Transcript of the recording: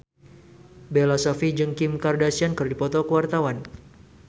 Bella Shofie jeung Kim Kardashian keur dipoto ku wartawan